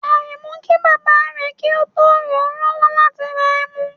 Aremu ki baba re ki o to ran an lowo lati ra emu